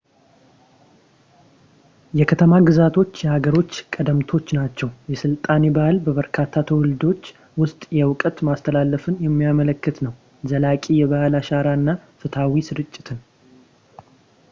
የከተማ-ግዛቶች የሃገሮች ቀደምቶች ናቸው። የሥልጣኔ ባህል በበርካታ ትውልዶች ውስጥ የእውቀት ማስተላለፍን የሚያመለክት ነው ፣ ዘላቂ የባህል አሻራ እና ፍትሃዊ ስርጭትን